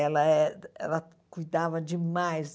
Ela eh ela cuidava demais.